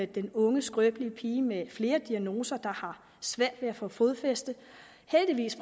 den unge skrøbelige pige med flere diagnoser der har svært ved at få fodfæste heldigvis